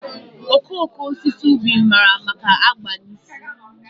okooko osisi ubi mara maka agba na ísì.